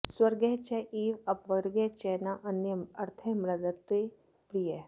स्वर्गः च एव अपवर्गः च न अन्यः अर्थः मदृते प्रियः